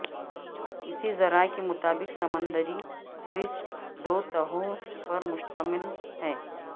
اسی ذرائع کے مطابق سمندری کرسٹ دو تہوں پر مشتمل ہے